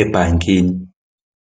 ebhankini.